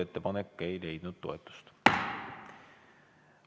Ettepanek ei leidnud toetust.